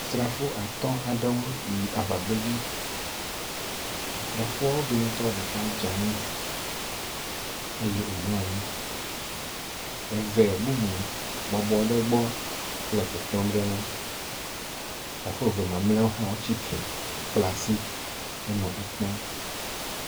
Srafo at aɖewo yi aŋagbedzi. Asrafoawo dometɔ ɖeka dze anyi eye womlɔ anyi, eve bubu bɔbɔ ɖe ŋegbɔ le kpekpem ɖe eŋu. srafoa eve mamlɛ hã tsi tre he ekpɔm.